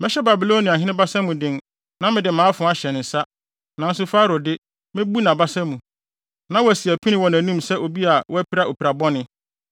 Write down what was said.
Mɛhyɛ Babiloniahene basa mu den na mede mʼafoa ahyɛ ne nsa, nanso Farao de, mebu nʼabasa mu, na wasi apini wɔ nʼanim sɛ obi a wapira opirabɔne.